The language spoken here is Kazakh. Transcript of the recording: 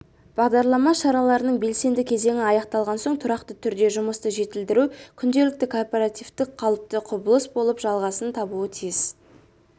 бағдарлама шараларының белсенді кезеңі аяқталған соң тұрақты түрде жұмысты жетілдіру күнделікті корпоративтік қалыпты құбылыс болып жалғасын табуы тиіс